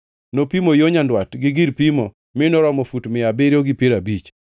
Nopimo yo nyandwat, gi gir pimo mi noromo fut mia abiriyo gi piero abich.